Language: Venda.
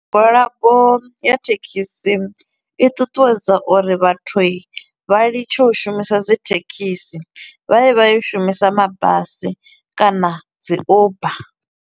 Migwalabo ya thekhisi i ṱuṱuwedza uri vhathu i, vha litshe u shumisa dzi thekhisi vha ye vha yo shumisa mabasi kana dzi uber.